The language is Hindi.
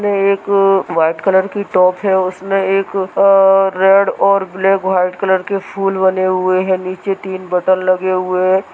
उसमें एक व्हाइट कलर की टॉप है उसमें एक अ रेड और ब्लैक व्हाइट कलर के फूल बने हुए है नीचे तीन बटन लगे हुए है।